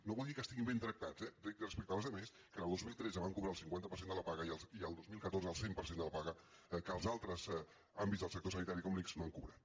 no vull dir que estiguin ben tractats eh dic respecte a la resta que el dos mil tretze van cobrar el cinquanta per cent de la paga i el dos mil catorze el cent per cent de la paga que els altres àmbits del sector sanitari com l’ics no han cobrat